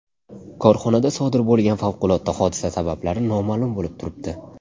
Korxonada sodir bo‘lgan favqulodda hodisa sabablari noma’lum bo‘lib turibdi.